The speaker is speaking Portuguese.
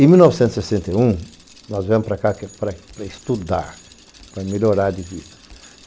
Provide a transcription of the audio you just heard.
Em mil novecentos e sessenta e um, nós viemos para cá para estudar, para melhorar de vida.